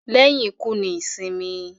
lẹ́yìn ikú ni ìsìnkú.